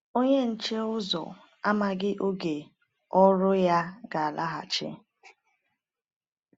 Onye nche ụzọ amaghị oge ọ̀rụ̀ọ̀ ya ga-alaghachi.